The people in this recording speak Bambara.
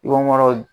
I koro